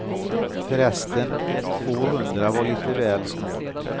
Förresten, tvåhundra var lite väl snålt.